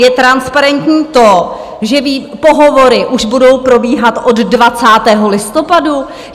Je transparentní to, že pohovory už budou probíhat od 20. listopadu?